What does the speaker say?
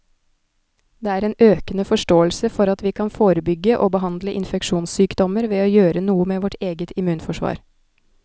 Det er en økende forståelse for at vi kan forebygge og behandle infeksjonssykdommer ved å gjøre noe med vårt eget immunforsvar.